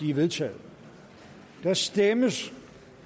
er vedtaget der stemmes